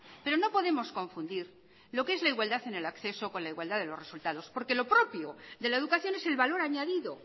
pero no podemos confundir lo que es la igualdad en el acceso con la igualdad de los resultados porque lo propio de la educación es el valor añadido